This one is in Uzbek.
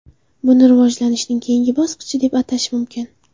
Buni rivojlanishning keyingi bosqichi deb atash mumkin.